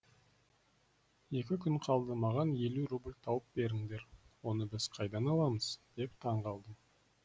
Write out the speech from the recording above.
екі күн қалды маған елу рубль тауып беріңдер оны біз қайдан аламыз деп таң қалдым